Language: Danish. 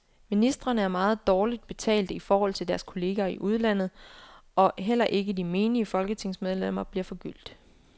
Ministrene er meget dårligt betalte i forhold til deres kolleger i udlandet, og heller ikke de menige folketingsmedlemmer bliver forgyldt.